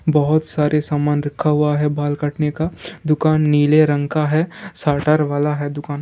बहुत सारे सामान रखा हुआ है बाल काटने का दुकान नीले रंग का है शटर वाला है दुकान।